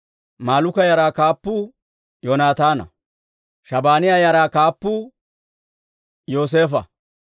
Malluuka yaraa kaappuu Yoonataana. Shabaaniyaa yaraa kaappuu Yooseefo.